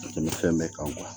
Tɛmɛ fɛn bɛɛ kan